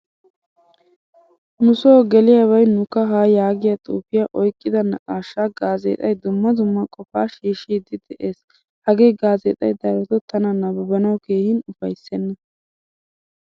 Nu so geliyabay nu kahaa yaagiyaa xuufiyaa oyqqida naaqqashsha gaazexay dumma dumma qofa shiishidi de'ees. Hagee gazexxay daroto tana nabbabanawu keehin ufaysena.